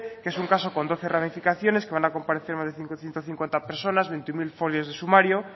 que es un caso con doce ramificaciones que van a comparecer más de ciento cincuenta personas veintiuno mil folios de sumario